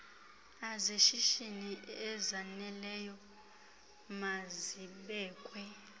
azeshishini ezaneleyo mazibekwe